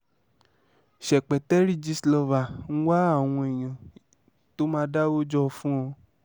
ṣèpẹtẹrí gistlover ń wá àwọn èèyàn tó máa dáwọ́ jọ fún un o